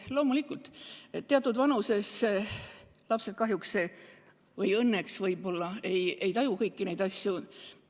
Loomulikult, teatud vanuses lapsed kahjuks – või õnneks võib-olla – ei taju kõiki neid asju.